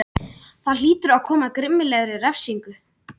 Það hlýtur að koma að grimmilegri refsingu.